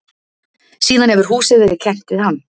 Síðan hefur húsið verið kennt við hann.